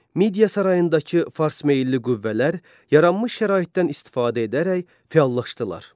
Midiya sarayındakı farsmeylli qüvvələr yaranmış şəraitdən istifadə edərək fəallaşdılar.